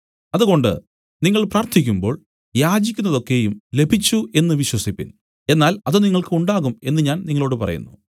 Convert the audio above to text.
അതുകൊണ്ട് നിങ്ങൾ പ്രാർത്ഥിക്കുമ്പോൾ യാചിക്കുന്നതൊക്കെയും ലഭിച്ചു എന്നു വിശ്വസിപ്പിൻ എന്നാൽ അത് നിങ്ങൾക്ക് ഉണ്ടാകും എന്നു ഞാൻ നിങ്ങളോടു പറയുന്നു